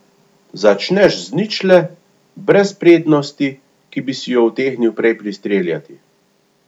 Začneš z ničle, brez prednosti, ki bi si jo utegnil prej pristreljati.